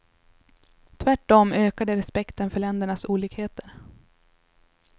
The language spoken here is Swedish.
Tvärtom ökar det respekten för ländernas olikheter.